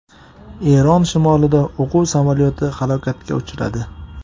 Eron shimolida o‘quv samolyoti halokatga uchradi.